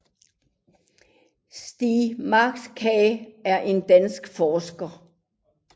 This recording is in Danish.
Stiig Markager er en dansk forsker